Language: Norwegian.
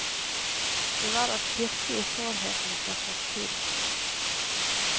Det var å pirke i sårheten fra fortiden.